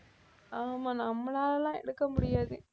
ஆமா நம்மளால எல்லாம் எடுக்க முடியாது